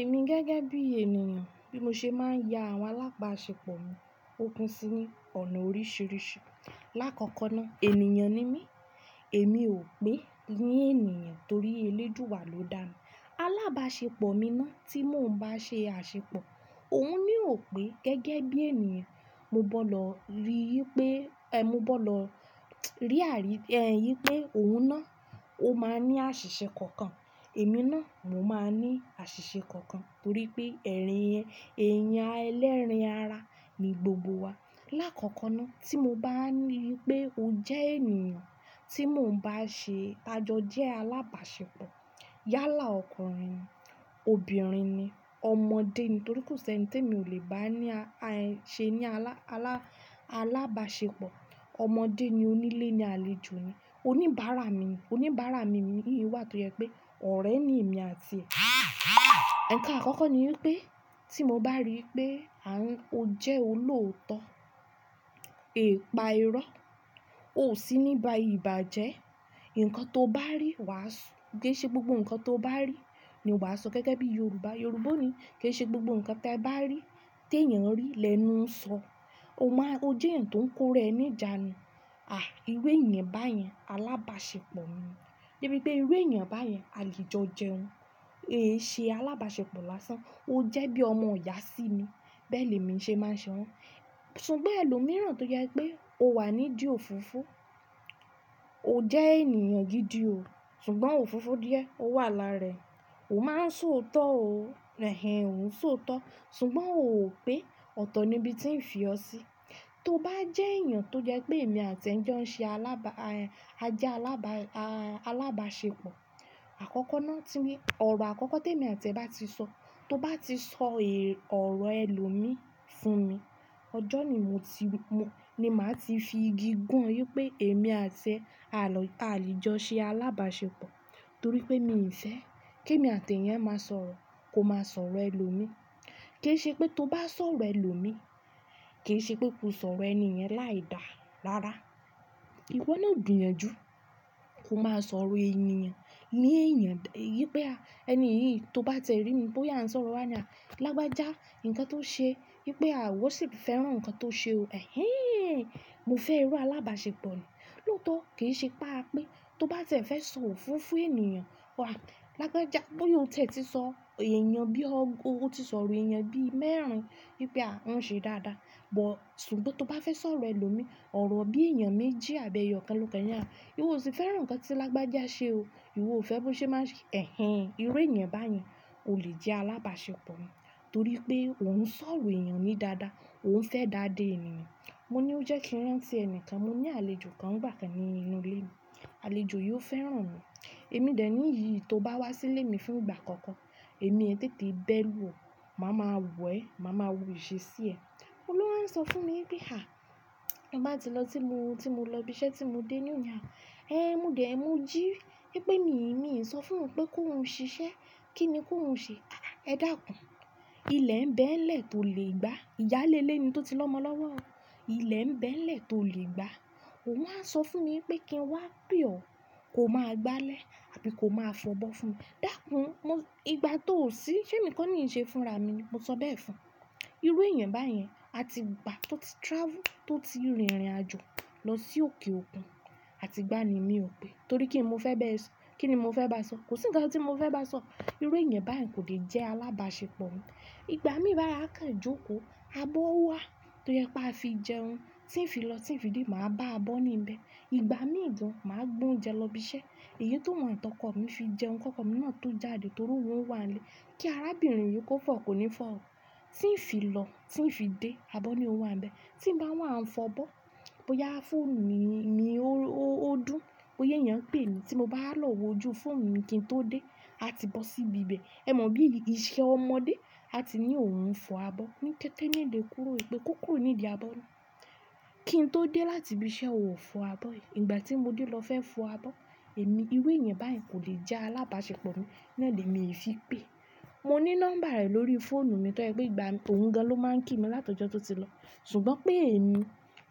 Èmi gẹ́gẹ́ bí ènìyàn, bí mo ṣe máa ń ya àwọn alábàáṣepọ̀ mi, ó pin sí ní ọ̀nà oríṣiríṣi. Láàkọ́kọ́ náà, ènìyàn ni mí, èmi ò pé ní ènìyàn torí eléduwa ló dá mi. Alábàáṣepọ̀ mi náà tí mò ń bá ṣe àṣepọ̀, òun naa ò pé gẹ́gẹ́ bí ènìyàn, mo gbọ́dọ̀ rí pé, ẹ, mo gbọ́dọ̀ rí àrí, ẹ́, yìí pé òun náà, ó máa ní àṣìṣe kankan, èmi náà, mo máa ní àṣìṣe kankan torí pé ẹ̀rín yẹn, èèyàn ẹlẹ́ran ara ni gbogbo wa. Láàkọ́kọ́ náà tí mo bá ri pé o jẹ́ ènìyàn tí mò ń bá ṣe àjọ jẹ́ alábàáṣepọ̀, yálà ọkùnrin ni, obìnrin ni, ọmọdé ni torí kò sí ẹni tí èmi ò lè bá ní a, a, ṣe ní alá, alá, alábàáṣepọ̀. Ọmọdé ni onílé ni àlejò ni, oníbàárà mi ni, oníbàárà mi ni yìí wà torí pé ọ̀rẹ́ ni èmi àti ẹ̀. Ǹnkan àkọ́kọ́ ni pé tí mo bá rí pé à ń, o jẹ́ olóòótọ́, ee pa irọ́, ó sì níba ìbàjẹ́, nǹkan tó bá rí wàásù, kí í ṣe gbogbo nǹkan tó bá rí ni o máa sọ gẹ́gẹ́ bí Yorùbá. Yorùbá ni kí í ṣe gbogbo nǹkan tí ẹ bá rí, tí èèyàn rí lẹ́nu ń sọ. O máa, o jẹ́ ẹ̀yàn tó ń kóra ẹ ní ìjànu À, ìru èèyàn báyẹn alábàáṣepọ̀ mi ni. Bí i pé ìwé èèyàn báyẹn à le jò jẹun, èéṣe alábàáṣepọ̀ lásán. Ó jẹ́ bí ọmọ ìyá sí mi, bẹ́ẹ̀ ni èmi ṣe máa ṣe wọ́n. Ṣùgbọ́n ẹlòmíràn tó jẹ́ pé o wà ní dí ofofo, o jẹ́ ènìyàn gidi o, ṣùgbọ́n ó ofofo díẹ̀, ó wà láára ẹ, ò máa ń sọ òótọ́ o, ẹ́, ò ń sọ òótọ́, ṣùgbọ́n ò pé ọ̀tọ̀ ni ibi tí ń fi ọ́ sí. Tó bá jẹ́ èèyàn tó jẹ́ pé èmi àti ẹ̀ ń jẹ́ ń ṣe alábá, ẹ́, aje alábá, a, alábàáṣepọ̀, àkọ́kọ́ náà tí ń, ọ̀rọ̀ àkọ́kọ́ tí èmi àti ẹ̀ bá ti sọ, tó bá ti sọ è, ọ̀rọ̀ ẹlòmíí fún mi, ọjọ́ yi mo ti wí, mo, ni màá ti fi igi gùn wí pé èmi àti ẹ̀ a lọ, a lè jọ ṣe alábàáṣepọ̀ torí pé mi ǹṣẹ́. Kí èmi àti ẹ̀eyan máa sọ̀rọ̀, kò máa sọ̀rọ̀ ẹlòmíí. Kì í ṣe pé tó bá sọ̀rọ̀ ẹlòmíí, kì í ṣe pé kò sọ̀rọ̀ ẹni ẹ̀yẹn láì dàá, rárá. Ìwọ náà dùn ẹ́ ju, kò máa sọ̀rọ̀ ẹniyan. Ní èèyàn, yìí pé à, ẹni yìí tó bá tẹ̀rí mi pé ó yà ń sọ̀rọ̀ wá ní à, "Lágbájá, nǹkan tó ṣe, wípé à, wọ́n sì fẹ́ràn nǹkan tó ṣe o." Ẹ̀hẹ́n, mo fẹ́ iru alábàáṣepọ̀ yi. Lóòótọ́ kì í ṣe pa á pé tó bá tẹ̀ fẹ́ sọ òfofo ènìyàn, wàá, "Lágbájá, bóyá o tẹ̀ ti sọ èèyàn bí ọ́, o ti sọ̀rọ̀ èèyàn bí mẹ́rin wípé à, ń ṣe dáadáa." Ọ̀, ṣùgbọ́n tó bá fẹ́ sọ̀rọ̀ ẹlòmíí, ọ̀rọ̀ bí èèyàn méjì àbẹ́yọ̀ kẹ́lọ̀kẹ́lọ̀ ni à, ìwọ ò sì fẹ́ràn nǹkan tí Lágbájá ṣe o. Ìwọ ò fẹ́ bó ṣe má ń ṣe. Ẹ̀hẹ́n, ìru èèyàn báyẹn ò lè jẹ́ alábàáṣepọ̀ mi torí pé òun ń sọ̀rọ̀ èèyàn ní dáadáa, òun ń fẹ́ dáa dé ènìyàn. Mo ní ó jẹ́ kí ń rán sí ẹnìkan, mo ní àlejò kan ńigbà kàn nínú ilé mi. Àlejò yi ò fẹ́ràn mi. Èmi dè ní yìí tó bá wá sí ilé mi fún ìgbà àkọ́kọ́, èmi ẹ́tẹ́tẹ́ bẹ́ẹ̀ lù ọ́, màá ma wẹ̀ ẹ́, màá ma wú ìṣe sí e Òun ló ń sọ fún mi bí, "À, ẹ má tí lọ tí mo, tí mo lọ ibi iṣẹ́ tí mo dé ní òní à." Ẹ́n, mo dè ẹ́, mo jí wí pé mi, mi ń sọ fún òun pé kó ń ṣiṣẹ́. Kí ni kó ń ṣe? "Ẹ dàkún, ilẹ̀ ń bẹ́ẹ̀ lẹ̀ tó lè gbá." Ìyáálé ilé ni tó ti lọ́mọ lọ́wọ́. "Ilẹ̀ ń bẹ́ẹ̀ lẹ̀ tó lè gbá." Òun á sọ fún mi pé kí n wá pì ọ́, kò máa gbálẹ̀ àbí kò máa fọ̀bọ́ fún mi. Dàkún, mo, ìgbà tó ò sí, sẹ́ mì ko ni ń ṣe fúnra mi ni, mo sọ bẹ́ẹ̀ fún un. Ìru èèyàn báyẹn, a ti gbà tó ti travel, tó ti rìnrìnàjò lọ sí òkè òkun, a ti gbá ni mi ò pé torí kí n mo fẹ́ bẹ́ẹ̀ sọ. Kí ni mo fẹ́ bá a sọ? Kò sí nǹkan tí mo fẹ́ bá a sọ. Ìwé èèyàn báyẹn kò lè jẹ́ alábàáṣepọ̀ mi. Ìgbà mí bá a káǹ jokó, abọ́ ó wà tó jẹ́ pé a fi jẹun, tí ń fi lọ, tí ń fi dé, màá bá a bọ́ níbẹ̀. Ìgbà mí gan, màá gbé oúnjẹ lọ ibi iṣẹ́. Èyí toun atọkọ mi fi jẹun, kóko mi náà tó jáde torí òun wà nílé. Kí arábìnrin yìí kó fọ̀, kò ní fọ̀ o. Tí ń fi lọ, tí ń fi dé, abọ́ ni ó wà níbẹ̀. Tí ń bá wà, ń fọ̀ bọ́, bóyá fún mi, mi, ó, ó, ó dùn, ó yéyẹ ń pè mí tí mo bá lọ̀ọ́ wò jú fún mi kí n tó dé, a ti bọ́ sí ibi ibẹ̀. Ẹ mọ bí iṣẹ́ ọmọdé, a ti ní òun fọ abọ́ ní kẹ́tẹ́ ní lè kúrò pé kó kúrò nídi abọ́ náà. Kí n tó dé láti ibi iṣẹ́ ò fọ abọ́ yìí. Ìgbà tí mo dé lọ fẹ́ fọ abọ́, èmi, ìru èèyàn báyẹn kò lè jẹ́ alábàáṣepọ̀ mi naa ní emi ì fi pè é. Mo ní nọ́mbà rẹ̀ lórí fóònù mi tó jẹ́ pé ìgbà tó ń gan ló máa ń kí mi látọjọ́ tó ti lọ. Ṣùgbọ́n pé èmi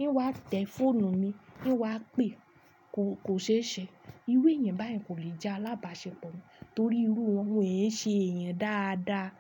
ń wá tẹ fóònù mi, kí n wá pè é, kò, kò ṣe é ṣẹ. Ìru èèyàn báyẹn kò lè jẹ́ alábàáṣepọ̀ mi torí irú wọn, won ń ṣe èèyàn dáadáa.